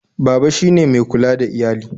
Baba shi ne mai kula da iyali